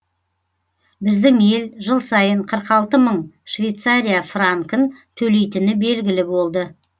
біздің ел жыл сайын қырық алты мың швейцария франкін төлейтіні белгілі болды